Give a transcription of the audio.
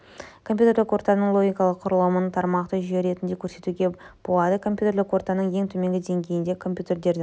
компьютерлік ортаның логикалық құрылымын тармақтық жүйе ретінде көрсетуге болады компьютерлік ортаның ең төменгі деңгейінде компьютердің